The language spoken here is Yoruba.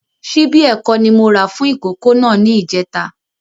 Ṣíbí ẹ̀kọ ni mó rà fún ìkókó náà ni ìjẹta